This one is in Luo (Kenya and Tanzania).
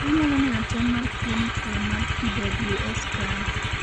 inyalo neno tem mar clinical mar PWS kae